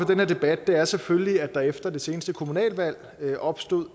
den her debat er selvfølgelig at der efter det seneste kommunalvalg opstod